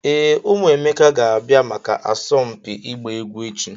Ee, ụmụ Emeka ga-abịa maka asọmpi ịgba egwu echi.